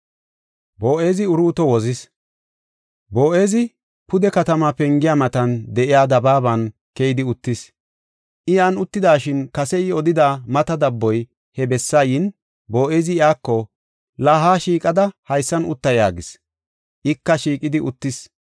Boo7ezi pude katama pengiya matan de7iya dabaaban keyidi uttis. I yan uttidashin kase I odida mata dabboy he bessa yin, Boo7ezi iyako, “La, ha shiiqada haysan utta” yaagis. Ika, shiiqidi uttis.